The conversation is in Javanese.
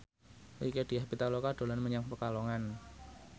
Rieke Diah Pitaloka dolan menyang Pekalongan